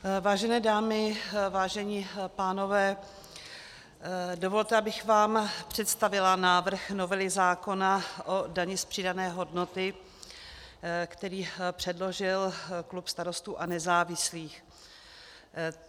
Vážené dámy, vážení pánové, dovolte, abych vám představila návrh novely zákona o dani z přidané hodnoty, který předložil klub Starostů a nezávislých.